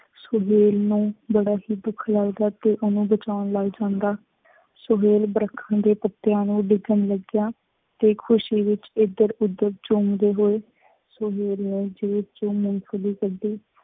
ਸੁਹੇਲ ਨੂੰ ਬੜਾ ਹੀ ਦੁੱਖ ਲੱਗਦਾ ਤੇ ਉਹਨੂੰ ਬਚਾਉਣ ਲੱਗ ਜਾਂਦਾ। ਸੁਹੇਲ ਦਰੱਖਤਾਂ ਦੇ ਪੱਤਿਆਂ ਨੂੰ ਦੇਖਣ ਲੱਗਿਆ, ਤੇ ਖੁਸ਼ੀ ਵਿਚ ਇੱਧਰ ਉੱਧਰ ਝੂੰਮਦੇ ਹੋਏ ਸੁਹੇਲ ਨੇ ਫੇਰ ਜ਼ੇਬ ਚੋ ਮੂੰਗਫਲੀ ਕੱਢੀ।